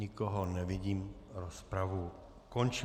Nikoho nevidím, rozpravu končím.